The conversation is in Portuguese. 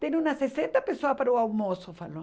Tem umas sessenta pessoas para o almoço, falou.